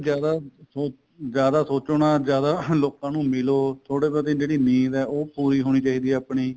ਜਿਆਦਾ ਉਹ ਜਿਆਦਾ ਸੋਚਣਾ ਜਿਆਦਾ ਲੋਕਾ ਨੂੰ ਮਿਲੋ ਥੋੜੀ ਬਹੁਤੀ ਜਿਹੜੀ ਨੀਂਦ ਏ ਉਹ ਪੂਰੀ ਹੋਣੀ ਚਾਹੀਦੀ ਏ ਆਪਣੀ